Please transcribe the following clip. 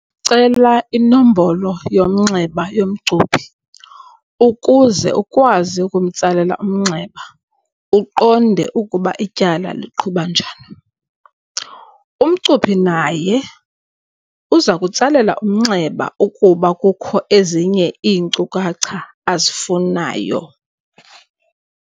Cela inombolo yomnxeba yomcuphi, ukuze ukwazi ukumtsalela umnxeba uqonde ukuba ityala liqhuba njani. Umcuphi naye uzakutsalela umnxeba ukuba kukho ezinye iinkcukacha azifunayo.